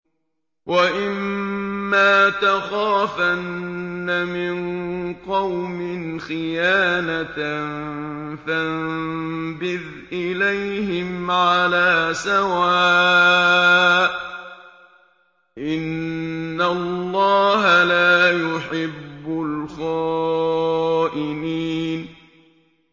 وَإِمَّا تَخَافَنَّ مِن قَوْمٍ خِيَانَةً فَانبِذْ إِلَيْهِمْ عَلَىٰ سَوَاءٍ ۚ إِنَّ اللَّهَ لَا يُحِبُّ الْخَائِنِينَ